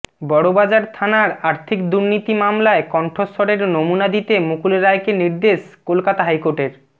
বড়বাজার থানার আর্থিক দুর্নীতি মামলায় কণ্ঠস্বরের নমুনা দিতে মুকুল রায়কে নির্দেশ কলকাতা হাইকোর্টের